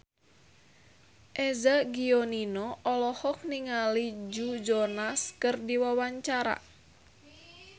Eza Gionino olohok ningali Joe Jonas keur diwawancara